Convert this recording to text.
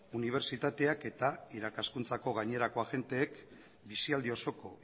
unibertsitateak eta irakaskuntza gainerako agenteek bizialdi osoko